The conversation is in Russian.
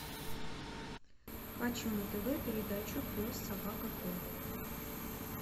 хочу на тв передачу пес собака ко